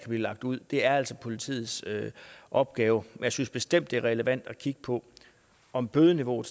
lagt ud det er altså politiets opgave men jeg synes bestemt det er relevant at kigge på om bødeniveauet